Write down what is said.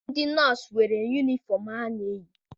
Ndị nọọsụ nwere yunifọm ha na-eyi.